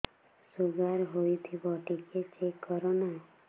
sugar ହେଇଥିବ ଟିକେ check କର ନା